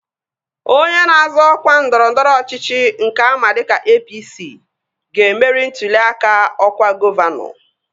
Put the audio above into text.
Onye na-azọ ọkwa ndọrọndọrọ ọchịchị nke ama dịka APC, ga-emeri ntụli aka ọkwa gọvanọ